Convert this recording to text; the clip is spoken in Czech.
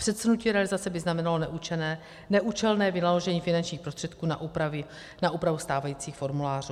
Předsunutí realizace by znamenalo neúčelné vynaložení finančních prostředků na úpravu stávajících formulářů.